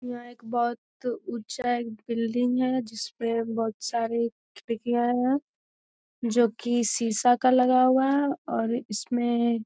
यहाँ एक बहुत ऊँचा एक बिल्डिंग है जिसपे बहुत सारे खिड़कियाँ है जो की शीशा का लगा हुआ है और इसमे --